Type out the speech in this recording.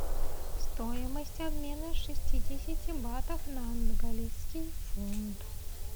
стоимость обмена шестидесяти батов на английский фунт